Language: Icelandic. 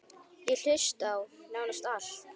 Ég hlusta á: nánast allt